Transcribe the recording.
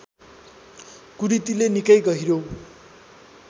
कुरीतिले निकै गहिरो